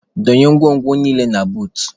Donye ngwongwo niile a na buut.